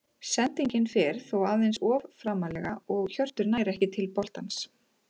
Sendingin fer þó aðeins of framarlega og Hjörtur nær ekki til boltans.